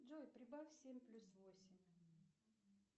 джой прибавь семь плюс восемь